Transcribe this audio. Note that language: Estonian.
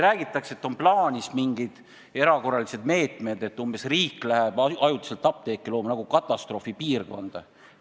Räägitakse, et on plaanis mingid erakorralised meetmed – umbes sedasi, et riik läheb ajutiselt nagu katastroofipiirkonda apteeke looma.